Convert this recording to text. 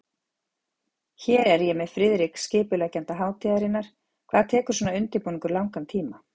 Hér er ég með Friðrik, skipuleggjanda hátíðarinnar, hvað tekur svona undirbúningur langan tíma?